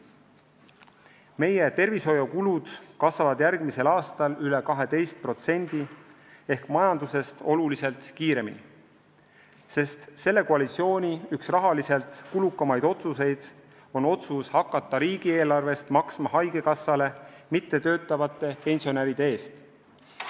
Meie tervishoiukulud kasvavad järgmisel aastal üle 12% ehk majandusest oluliselt kiiremini, sest selle koalitsiooni üks rahaliselt kulukamaid otsuseid on otsus hakata riigieelarvest maksma haigekassale mittetöötavate pensionäride eest.